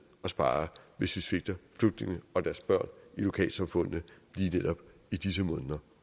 at spare hvis vi svigter flygtningene og deres børn i lokalsamfundene netop i disse måneder